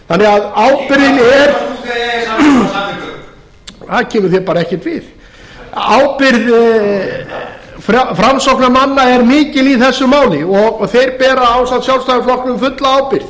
þannig að ábyrgðin er það kemur þér bara ekkert við ábyrgð framsóknarmanna er mikil í þessu máli og þeir bera ásamt sjálfstæðisflokknum fulla ábyrgð